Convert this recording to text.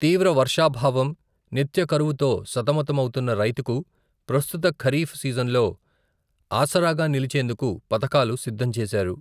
తీవ్ర వర్షాభావం నిత్య కరవుతో సతమతమౌతున్న రైతుకు, ప్రస్తుత ఖరీఫ్ సీజన్లో, ఆసరాగా నిలిచేందుకు పథకాలు సిద్ధం చేశారు.